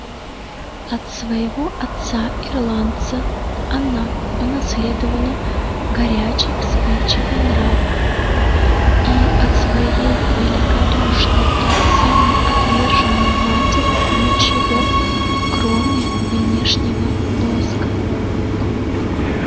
от своего отца-ирландца она унаследовала горячий вспыльчивый нрав и от своей великодушной и самоотверженной матери ничего кроме внешнего лоска